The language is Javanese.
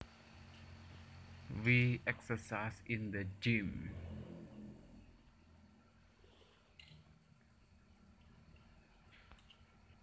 We exercised in the gym